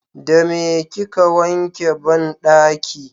da meye kika wanke banɗaki?